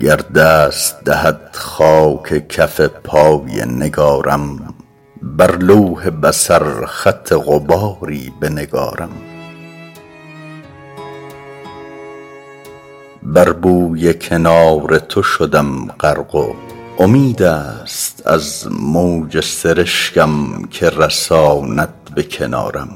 گر دست دهد خاک کف پای نگارم بر لوح بصر خط غباری بنگارم بر بوی کنار تو شدم غرق و امید است از موج سرشکم که رساند به کنارم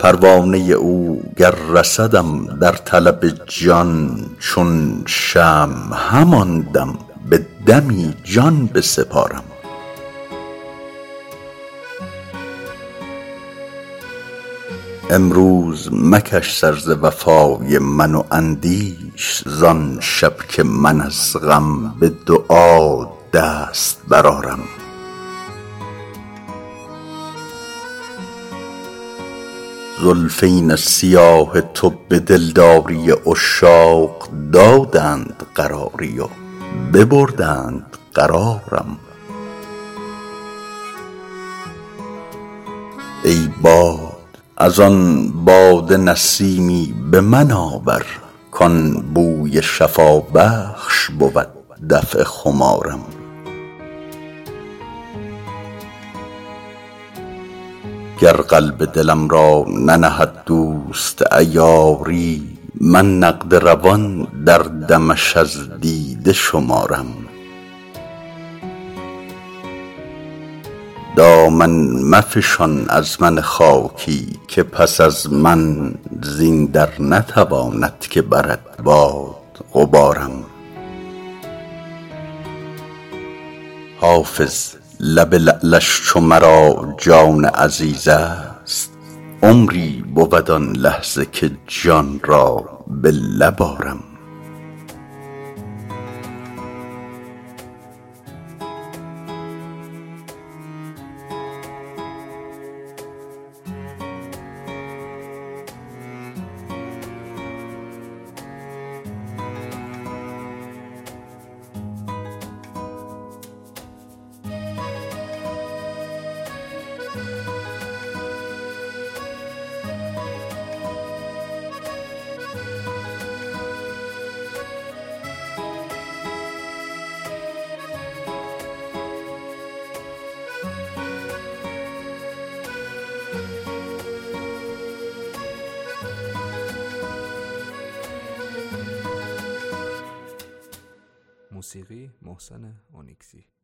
پروانه او گر رسدم در طلب جان چون شمع همان دم به دمی جان بسپارم امروز مکش سر ز وفای من و اندیش زان شب که من از غم به دعا دست برآرم زلفین سیاه تو به دلداری عشاق دادند قراری و ببردند قرارم ای باد از آن باده نسیمی به من آور کان بوی شفابخش بود دفع خمارم گر قلب دلم را ننهد دوست عیاری من نقد روان در دمش از دیده شمارم دامن مفشان از من خاکی که پس از من زین در نتواند که برد باد غبارم حافظ لب لعلش چو مرا جان عزیز است عمری بود آن لحظه که جان را به لب آرم